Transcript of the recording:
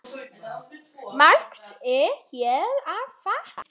Margt er hér að þakka